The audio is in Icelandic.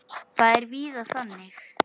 Það er víða þannig.